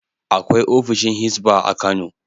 Akwai ofishin Hizba a Kano.